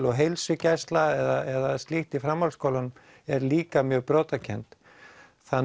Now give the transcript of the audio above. og heilsugæsla eða slíkt í framhaldsskólum er líka mjög brotakennd þannig